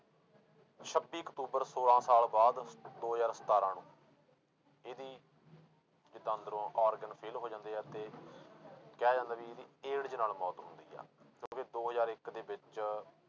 ਛੱਬੀ ਅਕਤੂਬਰ ਛੋਲਾਂ ਸਾਲ ਬਾਅਦ ਦੋ ਹਜ਼ਾਰ ਸਤਾਰਾਂ ਨੂੰ ਇਹਦੀ ਜਿੱਦਾਂ ਅੰਦਰੋਂ organ fail ਹੋ ਜਾਂਦੇ ਆ ਤੇ ਕਿਹਾ ਜਾਂਦਾ ਵੀ ਇਹਦੀ AIDS ਨਾਲ ਮੌਤ ਹੁੰਦੀ ਆ ਕਿਉਂਕਿ ਦੋ ਹਜ਼ਾਰ ਇੱਕ ਦੇ ਵਿੱਚ